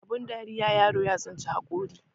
Abin dariya yaro ya tsinci hakuri